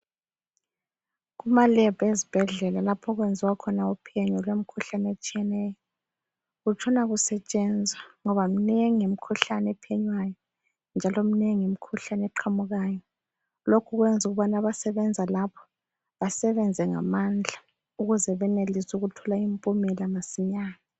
Kuma lab ezibhedlela lapho okwenziwa khona uphenyo lwemikhuhlane etshiyeneyo kutshona kusetshenzwa ngoba mnengi imikhuhlane ephenywayo njalo mnengi imikhuhlane eqhamukayo, lokhu kwenza abasebenza lapho basebenze ngamandla ukuze benelise ukuthola impumela masinyane